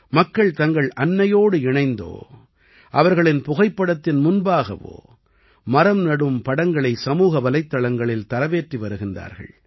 மக்கள் தங்கள் அன்னையோடு இணைந்தோ அவர்களின் புகைப்படத்தின் முன்பாகவோ மரம் நடும் படங்களை சமூக வலைத்தளங்களில் தரவேற்றி வருகிறார்கள்